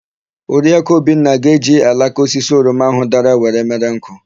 Oriakụ Obinna ga-eji alaka osisi oroma áhụ̀ dara were mere nkụ.